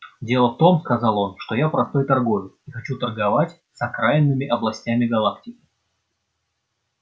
дело в том сказал он что я простой торговец и хочу торговать с окраинными областями галактики